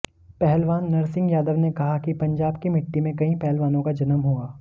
पहलवान नरसिंह यादव ने कहा कि पंजाब की मिट्टी में कई पहलवानों का जन्म हुआ